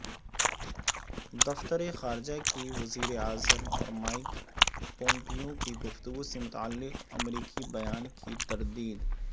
دفتر خارجہ کی وزیراعظم اور مائیک پومپیو کی گفتگو سے متعلق امریکی بیان کی تردید